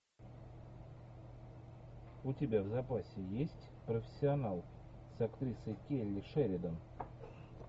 у тебя в запасе есть профессионал с актрисой келли шеридан